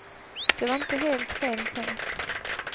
Det var inte helt fel tänkt.